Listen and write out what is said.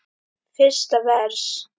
Fyrsta vers.